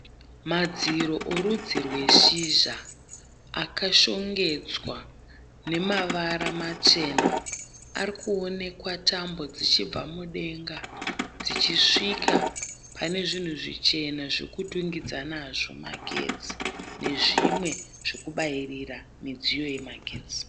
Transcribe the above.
Madziro erudzi rweshizha akashongedzwa nemavara machena. Ari kuonekwa tambo dzichibva mudenga dzichisvika pane zvinhu zvichena zvekutungidza nazvo magetsi nezvimwe zvekubayirira midziyo yemagetsi.